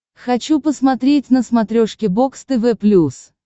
хочу посмотреть на смотрешке бокс тв плюс